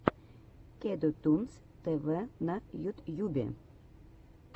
кеду тунс тв на ютьюбе